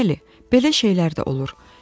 Bəli, belə şeylər də olur.